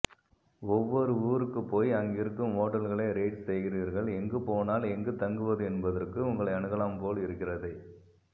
ஒவ்வொரு ஊருக்குப் போய் அங்கிருக்கும் ஓட்டல்களை ரேட் செய்கிறீர்களெங்கு போனால் எங்கு தங்குவது என்ப்தற்கு உங்களை அணுகலாம்பொல் இருக்கிறதே